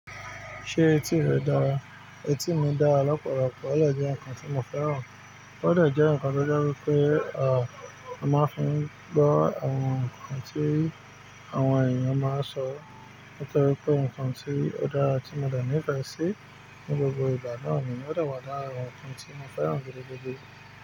Ṣé etí rẹ dára? Etí mi dára lọ́pọ̀lọpọ̀, o de jẹ́ nǹkan tí mo fẹ́ràn. O de je nǹkan tó je wipé, à, a mo máa ń fi ń gbọ́ àwọn nǹkan tí àwọn ènìyàn máa ń sọ. Nítorí pé nǹkan tí ó dára tí mo dẹ̀ ní ìfẹ́ sí ní gbogbo ìgbà náà ni ó de wà dára, nǹkan tí mo fẹ́ràn gidi gidi.